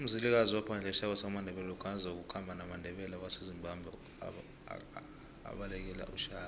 umzilikazi waphadla isitjhaba samandebele lokha nakazoku khamba namandebele awasa ezimbabwenakabalekele ushaka